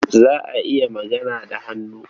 Za a iya magana da hannu.